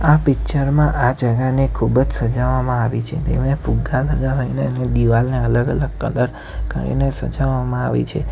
આ પિક્ચર માં આ જગાને ખૂબ જ સજાવવામાં આવી છે તેને ફુગ્ગા લગાવીને અને દિવાલને અલગ અલગ કલર કરીને સજાવવામાં આવી છે.